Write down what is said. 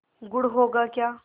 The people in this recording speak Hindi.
गुड़ होगा क्या